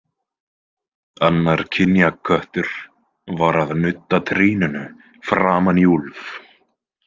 Annar kynjaköttur var að nudda trýninu framan í Úlf.